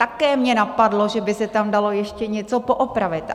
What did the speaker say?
Také mě napadlo, že by se tam dalo ještě něco poopravit.